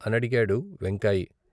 " అనడిగాడు వెంకాయి.